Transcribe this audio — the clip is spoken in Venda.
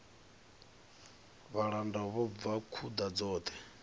vhalanda vho bva khuḓa dzoṱhe